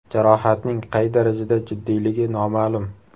Jarohatning qay darajada jiddiyligi noma’lum.